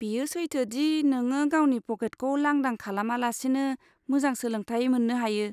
बेयो सैथो दि नोङो गावनि पकेटखौ लांदां खालामा लासेनो मोजां सोलोंथाय मोन्नो हायो।